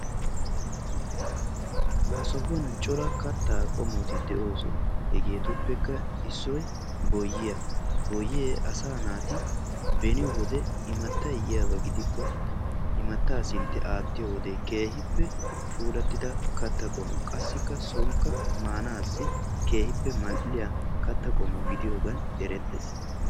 Ha sohuwan cora kattaa qommoti de'oosona. Hegeetuppekka issoy boyyiya, boyyee asaa naati beni wode imattay yiyaba gidikko imattaa sintti aattiyo wode keehippe puulattida katta qommo. Qassikka soonikka maanaassi keehippe mal"iya katta qommo gidiyogan eretees.